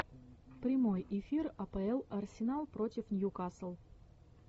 прямой эфир апл арсенал против ньюкасл